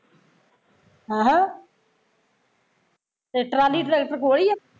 ਅਹ ਤੇ trolley tractor ਕੋਲ ਈ ਆ